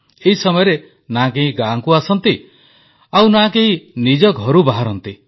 ଏହି ସମୟରେ ନା କେହି ଗାଁକୁ ଆସନ୍ତି ଆଉ ନା କେହି ନିଜ ଘରୁ ବାହାରନ୍ତି